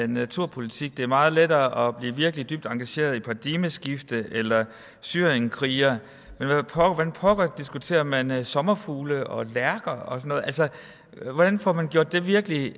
naturpolitik det er meget lettere at blive virkelig dybt engageret i paradigmeskift eller i syrienskrigere men hvordan pokker diskuterer man man sommerfugle og lærker og noget altså hvordan får man gjort det virkelig